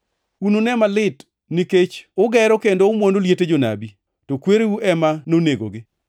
“Unune malit nikech ugero, kendo umwono liete jonabi, to kwereu ema nonegogi.